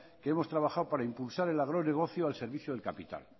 que hemos trabajado para impulsar el agronegocio al servicio del capital